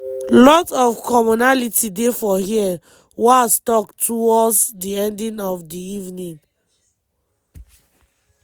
“lot of commonality dey for here” walz tok toward di end of di evening.